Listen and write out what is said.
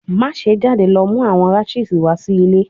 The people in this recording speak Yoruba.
Maṣe jade lọ mu awọn rashes wa si ile